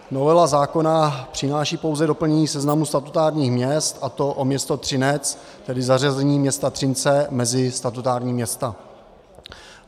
Novela zákona přináší pouze doplnění seznamu statutárních měst, a to o město Třinec, tedy zařazení města Třince mezi statutární města.